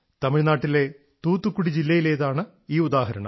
തമിഴ്നാട്ടിലെ തൂത്തുക്കുടി ജില്ലയിലേതാണ് ഈ ഉദാഹരണം